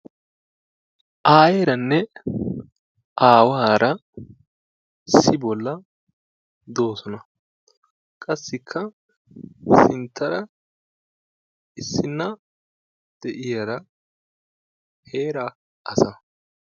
Aayeeranne aawaara issi bollan doosona. Qassikka sinttaara issinna de"iyara heeraa asa.